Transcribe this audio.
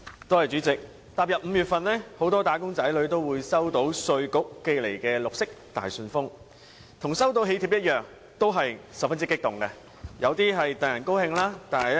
代理主席，踏入5月份，很多"打工仔女"都會收到稅務局寄來的綠色大信封，與收到囍帖一樣，都會十分激動。